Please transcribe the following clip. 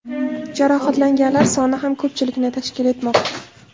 Jarohatlanganlar soni ham ko‘pchilikni tashkil etmoqda.